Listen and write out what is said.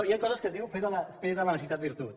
hi ha coses que es diu fer de la necessitat virtut